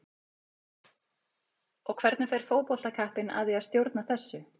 Og hvernig fer fótboltakappinn að því að stjórna þessu?